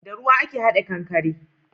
Da ruwa ake hada kankare